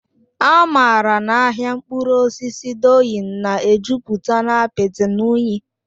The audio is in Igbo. Amara na ahịa mkpụrụ osisi Doyin na-ejupụta na apịtị na unyi.